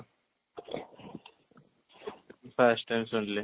first time ଶୁଣିଲି